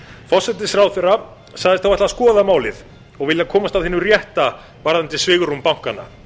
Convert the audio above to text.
forsætisráðherra sagðist þá ætla að skoða málið og vilja komast að hinu rétta varðandi svigrúm bankanna